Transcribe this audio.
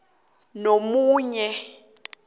phambi komunye nomunye